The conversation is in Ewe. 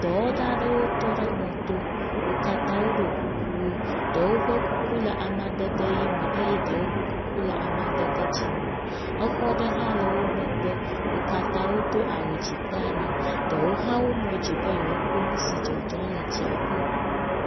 Dɔwɔla ɖewo tɔ ɖe mɔto. Wo katã woɖo kuku wo. Ɖewo ƒe kuku le amadede ʋi me eye ɖewo ƒe kuku le amadede dzi me. Exɔ aɖe hã le wo megbe. Wo katã wodo awu dzi kple anyi. Ɖewo hã wowu mo di be yewoakpɔ nu si le dzɔdzɔm le dziaƒo.